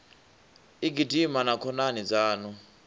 u gidima na khonani dzaṋu